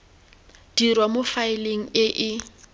dirwa mo faeleng e e